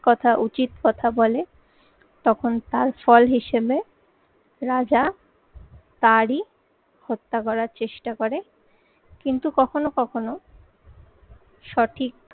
কথা, উচিত কথা বলে তখন তার ফল হিসেবে রাজা তারই হত্যা করার চেষ্টা করে কিন্তু কখনো কখনো সঠিক